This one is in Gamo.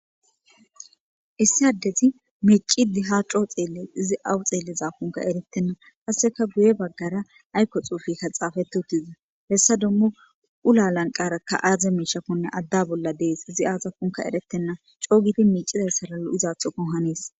issi addeti miicidi ha coo xeelle izi awu xeelleza konka eretenna kasseka guye baggara aykko xuufikka xaafeti huttizi hessa dummu ula lanqarakka aaze miishakkonne adda bolla dees izi aaza punka eretenna coogiti miicizayssalalo izaathoko haniis